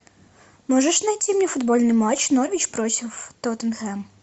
можешь найти мне футбольный матч норвич против тоттенхэм